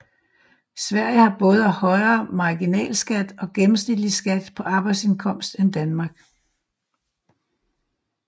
Sverige har både højere marginalskat og gennemsnitlig skat på arbejdsindkomst end Danmark